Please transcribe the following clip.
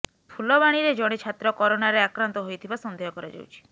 ଫୁଲବାଣୀରେ ଜଣେ ଛାତ୍ର କରୋନାରେ ଆକ୍ରାନ୍ତ ହୋଇଥିବା ସନ୍ଦେହ କରାଯାଉଛି